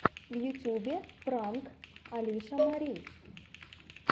в ютюбе пранк алиша мари